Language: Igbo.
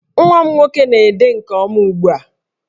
Nwa m nwoke na-ede nke ọma ugbu a